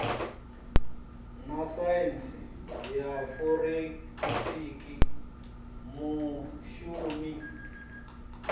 na saintsi ya forensikhi mushumi